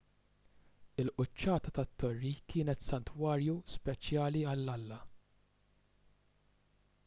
il-quċċata tat-torri kienet santwarju speċjali għall-alla